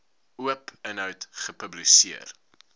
oop inhoud gepubliseer